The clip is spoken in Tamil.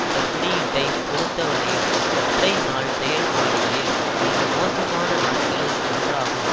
இந்த குறியீட்டை பொறுத்தவரையில் ஒற்றை நாள் செயல்பாடுகளில் மிக மோசமான நாட்களில் ஒன்றாகும்